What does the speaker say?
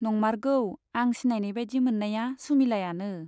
नंमारगौ , आं सिनायनाय बाइदि मोन्नाया सुमिलायानो।